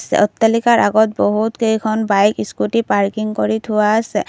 অট্টালিকাৰ আগত বহু কেইখন বাইক স্কুটী পাৰ্কিং কৰি থোৱা আছে।